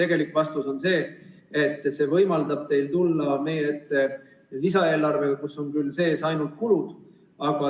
Tegelik vastus on see, et see võimaldab teil tulla meie ette lisaeelarvega, milles on sees ainult kulud.